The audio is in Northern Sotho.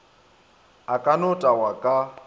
a ka no tagwa ka